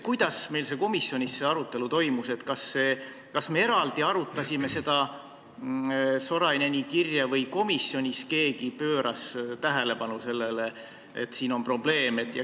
Kuidas meil komisjonis see arutelu toimus, kas me arutasime eraldi seda Soraineni kirja või pööras komisjonis keegi sellele probleemile tähelepanu?